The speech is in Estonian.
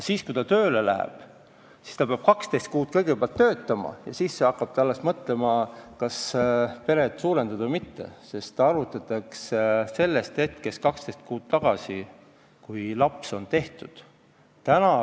Kui ta tööle läheb, siis ta peab kõigepealt 12 kuud töötama ja alles siis hakkab ta mõtlema, kas peret suurendada või mitte, sest hüvitist arvutatakse 12 kuud tagasi sellest hetkest, kui laps on tehtud.